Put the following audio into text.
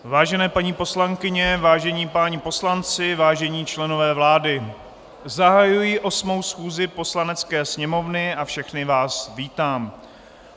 Vážené paní poslankyně, vážení páni poslanci, vážení členové vlády, zahajuji 8. schůzi Poslanecké sněmovny a všechny vás vítám.